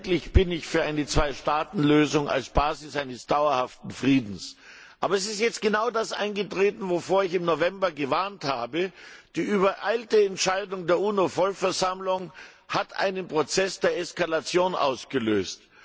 Herr Präsident! Selbstverständlich bin ich für eine Zweistaatenlösung als Basis eines dauerhaften Friedens, aber es ist jetzt genau das eingetreten, wovor ich im November gewarnt habe. Die übereilte Entscheidung der UNO Vollversammlung hat einen Prozess der Eskalation ausgelöst.